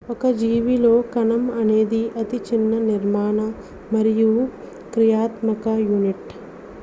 ఒక జీవిలో కణం అనేది అతి చిన్న నిర్మాణ మరియు క్రియాత్మక యూనిట్